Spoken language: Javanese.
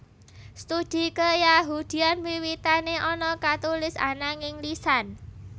Studi keyahudian wiwitane ana katulis ananging lisan